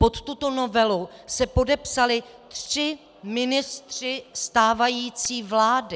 Pod tuto novelu se podepsali tři ministři stávající vlády.